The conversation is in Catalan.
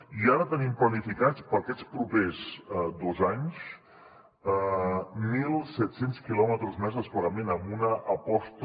i ara tenim planificats per a aquests propers dos anys mil set cents quilòmetres més de desplegament amb una aposta